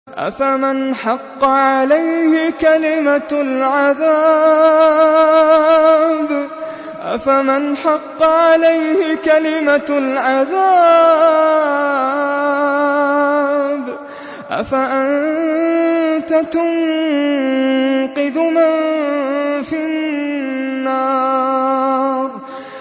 أَفَمَنْ حَقَّ عَلَيْهِ كَلِمَةُ الْعَذَابِ أَفَأَنتَ تُنقِذُ مَن فِي النَّارِ